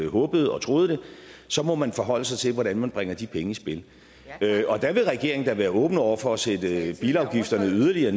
håbede og troede så må man forholde sig til hvordan man bringer de penge i spil og der vil regeringen da være åben over for at sætte bilafgiften yderligere